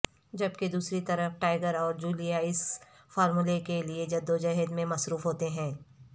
جبکہ دوسری طرف ٹائیگر اور جولیا اس فارمولے کے لیے جدوجہد میں مصروف ہوتے ہیں